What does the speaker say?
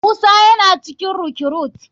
Musa yana cikin recruite.